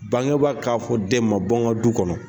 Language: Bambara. Bangeba k'a fɔ den ma bɔ nka du kɔnɔ.